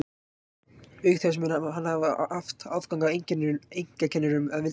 Auk þess mun hann hafa haft aðgang að einkakennurum að vild í æsku.